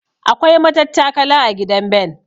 Akwai matattakala a gidan Ben.